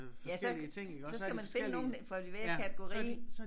Ja så så skal man finde nogen for enhver kategori